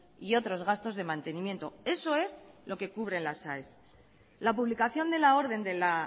y otros gastos de mantenimiento eso es lo que cubren las aes la publicación de la orden de la